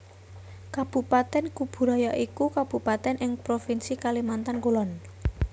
Kabupatèn Kubu Raya iku kabupatèn ing Provinsi Kalimantan Kulon